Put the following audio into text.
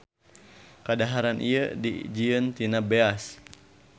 Kadaharan ieu dijieun tina beas.